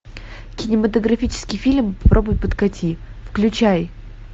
кинематографический фильм попробуй подкати включай